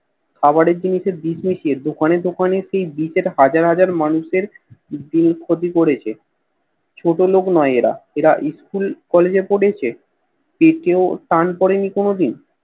খাবারের জিনিষে বিষ মিশিয়ে দোকানে দোকানে সেই বিচে হাজার হাজার মানুষের দিয়ে ক্ষতি করেছে ছোটলোক নয় এরা এরা School Collage এ পড়েছে পেটেও টান পড়েনি কোন দিন